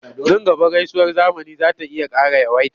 Nan gaba gaisuwar zamani za ta iya ƙara yawaita.